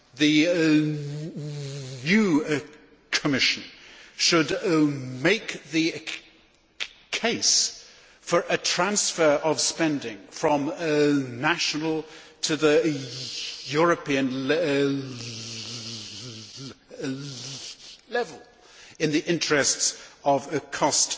The new Commission should make the case for a transfer of spending from national to European level in the interests of cost